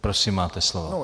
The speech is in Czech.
Prosím, máte slovo.